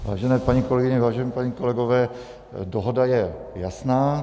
Vážené paní kolegyně, vážení páni kolegové, dohoda je jasná.